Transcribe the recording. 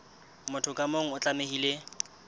motho ka mong o tlamehile